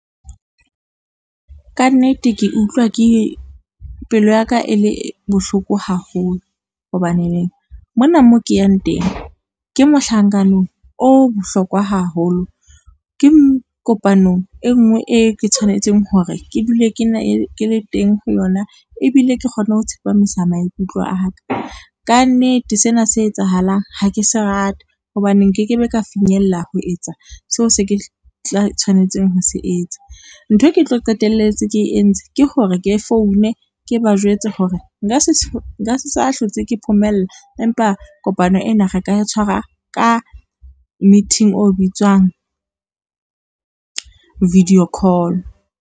Kannete ke utlwa pelo ya ka e le bohloko haholo, hobaneneng mona mo ke yang teng ke mohlankano o bohlokwa haholo, ke kopano e ngwe e ke tshwanetseng hore ke dule ke le teng ho yona ebile ke kgone ho tsepamisa maikutlo a ka. Ka nnete sena se etsahalang ha ke se rate hobane nkeke be ka finyella ho etsa seo se ke tla tshwanetseng ho se etsa, nthwe ke tlo qetelletse ke entse ke hore ke foune ke ba jwetse hore nka se sa hlotse ke phomella, mpa kopano ena re ka e tshwara ka meeting o bitswang video call.